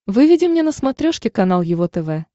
выведи мне на смотрешке канал его тв